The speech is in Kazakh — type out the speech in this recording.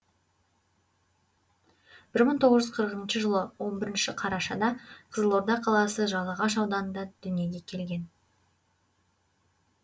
бір мың тоғыз жүз қырықыншы жылы н бірінші қарашада қызылорда қаласы жалағаш ауданында дүниеге келген